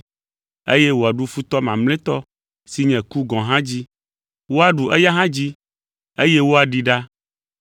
eye wòaɖu futɔ mamlɛtɔ si nye ku gɔ̃ hã dzi. Woaɖu eya hã dzi, eye woaɖee ɖa,